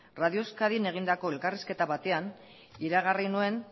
radio euskadin egindako elkarrizketa batean iragarri nuen